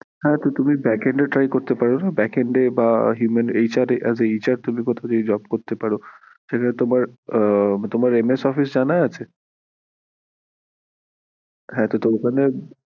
হ্যাঁ তুমি backend এ try করতে পারো না backend এ বা human HR বা as aHR তুমি কোথা থেকে job করতে পারো, তোমার MS Office জানা আছে? হ্যাঁ তো ওখানে